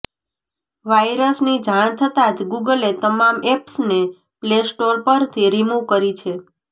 વાઇરસની જાણ થતાં જ ગૂગલે તમામ એપ્સને પ્લે સ્ટોરપરથી રિમૂવ કરી છે